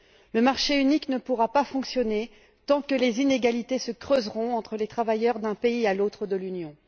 Le marché unique ne pourra pas fonctionner tant que les inégalités se creuseront entre les travailleurs de différents pays de l'Union.